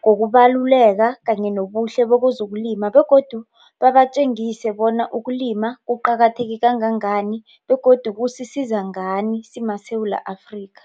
ngokubaluleka kanye nobuhle bezokulima begodu babatjengise bona ukulima kuqakatheke kangangani begodu kukusiza ngani simaSewula Afrika.